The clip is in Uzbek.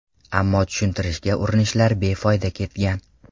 Ammo tushuntirishga urinishlar befoyda ketgan.